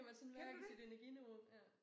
Kender du det?